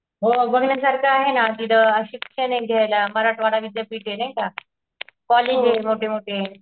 हो बघण्यासारखं आहे ना तिथं शिक्षण एक घयायला मराठवाडा विद्यापीठे नाही का. कॉलेजे मोठे मोठे